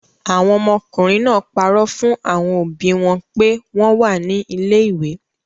Àwọn ọmọkùnrin náà parọ́ fún àwọn òbí wọn pé wọ́n wà ní ilé-ìwé.